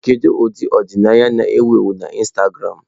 Kedu ụdị ọdịnaya na-ewu ewu na Instagramụ?